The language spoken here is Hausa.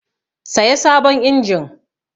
Saya sabon injin!